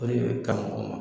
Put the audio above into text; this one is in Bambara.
O de bɛ karamɔgɔ ma